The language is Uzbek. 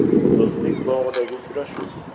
Do‘stlik bog‘idagi uchrashuv.